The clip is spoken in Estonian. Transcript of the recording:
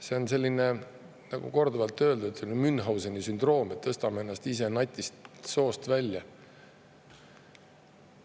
See on selline, nagu korduvalt öeldud, Münchhauseni sündroom, et tõstame ennast ise natist soost välja.